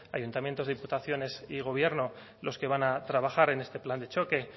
ayuntamientos diputaciones y gobierno los que van a trabajar en este plan de choque